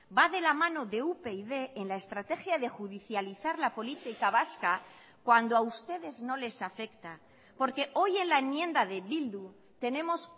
va de la mano de upyd en la estrategia de judicializar la política vasca cuando a ustedes no les afecta porque hoy en la enmienda de bildu tenemos